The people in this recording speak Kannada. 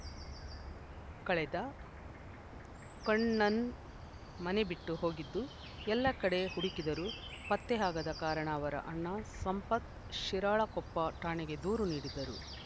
ಕಳೆದ ಕಣ್ಣನನ್‌ ಮನೆ ಬಿಟ್ಟು ಹೋಗಿದ್ದು ಎಲ್ಲ ಕಡೆ ಹುಡಕಿದರೂ ಪತ್ತೆ ಆಗದ ಕಾರಣ ಅವರ ಅಣ್ಣ ಸಂಪತ್‌ ಶಿರಾಳಕೊಪ್ಪ ಠಾಣೆಗೆ ದೂರು ನೀಡಿದ್ದರು